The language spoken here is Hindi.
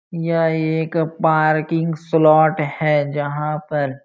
यह एक पार्किंग स्लॉट है जहां पर --